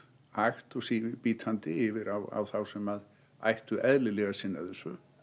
hægt og bítandi yfir á þá sem ættu eðlilega að sinna þessu